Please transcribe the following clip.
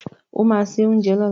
O ma se oúnjẹ lọ́la!